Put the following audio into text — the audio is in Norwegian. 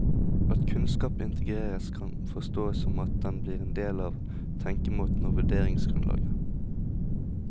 At kunnskap integreres, kan forstås som at den blir en del av tenkemåten og vurderingsgrunnlaget.